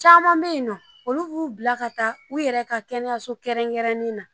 Caman bɛ yen nɔ olu k'u bila ka taa u yɛrɛ ka kɛnɛyaso kɛrɛnkɛrɛnnenw na